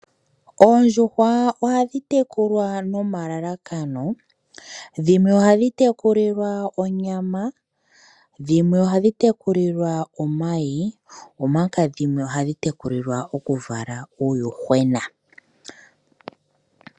Oondjuhwa ohadhi tekulwa nomalakano, dhimwe ohadhi tekulilwa onyama dhimwe, ohadhi tekulilwa omayi omanga dhimwe ohadhi tekulilwa oku vala uuyuhwena.